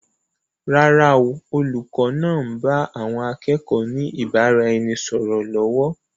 Rárá o, olùkọ́ náà ń bá àwọn akẹ́kọ̀ọ́ ni ìbáraẹnisọọ̀rọ̀ lọ́wọ́.